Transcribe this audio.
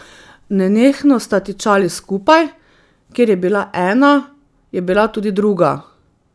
Nenehno sta tičali skupaj, kjer je bila ena, je bila tudi druga.